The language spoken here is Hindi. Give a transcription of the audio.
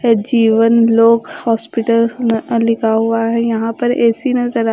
सजीवन लोक हॉस्पिटल न लिखा हुआ है यहां पर ए_सी नजर आ--